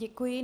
Děkuji.